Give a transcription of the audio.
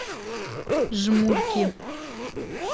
жмурки